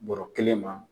Bɔrɔ kelen ma